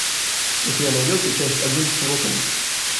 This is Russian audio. у тебя найдется часть один готэм